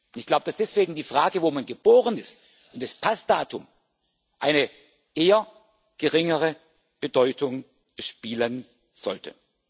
Ich glaube, dass deswegen die Frage, wo man geboren ist, und das Passdatum eine eher geringere Bedeutung spielen sollten.